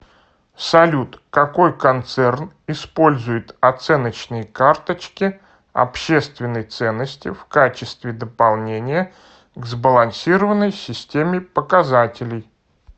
салют какой концерн использует оценочные карточки общественной ценности в качестве дополнения к сбалансированной системе показателей